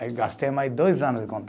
Aí gastei mais dois anos de